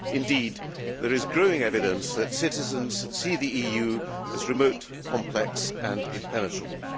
Indeed, there is growing evidence that citizens see the EU as remote, complex and impenetrable.